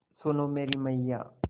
सुन ओ मेरी मैय्या